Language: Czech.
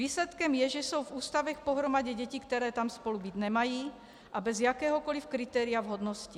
Výsledkem je, že jsou v ústavech pohromadě děti, které tam spolu být nemají, a bez jakéhokoli kritéria vhodnosti.